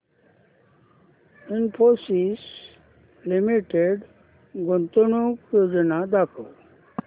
Infosys limited गुंतवणूक योजना दाखव